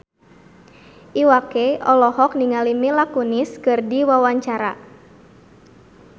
Iwa K olohok ningali Mila Kunis keur diwawancara